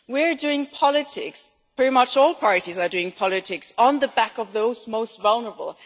We are doing politics pretty much all parties are doing politics on the back of those most vulnerable.